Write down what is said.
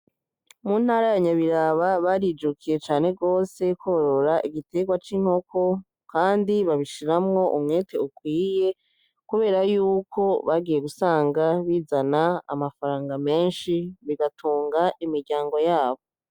Mu ntara ya nyabiraba barijukiye cane gwose kworora igitegwa c’inkoko kandi babishiramwo umwete ukwiye kubera yuko bagiye gusanga bizana amafaranga menshi bigatunga imiryango yabo.